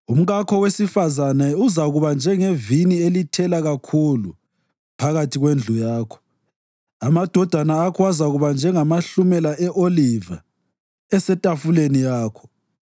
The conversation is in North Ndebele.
Umkakho wesifazane uzakuba njengevini elithela kakhulu phakathi kwendlu yakho; amadodana akho azakuba njengamahlumela e-oliva esetafuleni yakho.